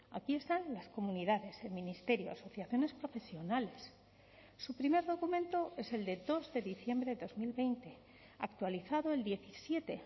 aquí están las comunidades el ministerio asociaciones profesionales su primer documento es el de dos de diciembre de dos mil veinte actualizado el diecisiete